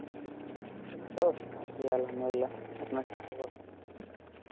এই তো আছি Arbi . আপনার কী খবর?